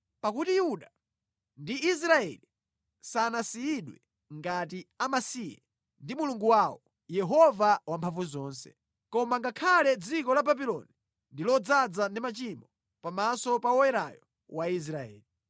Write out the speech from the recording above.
Pakuti Yuda ndi Israeli sanasiyidwe ngati amasiye ndi Mulungu wawo, Yehova Wamphamvuzonse, koma ngakhale dziko la Babuloni ndi lodzaza ndi machimo pamaso pa Woyerayo wa Israeli.